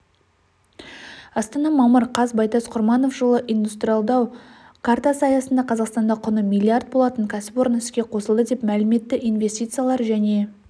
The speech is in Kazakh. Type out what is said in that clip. астана мамыр қаз байтас құрманов жылы индстралдау картасы аясында қазақстанда құны миллиард болатын кәсіпорын іске қосылады деп мәлім етті инвестициялар және